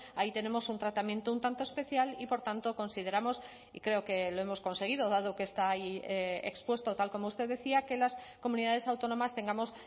ahí tenemos un tratamiento un tanto especial y por tanto consideramos y creo que lo hemos conseguido dado que está ahí expuesto tal como usted decía que las comunidades autónomas tengamos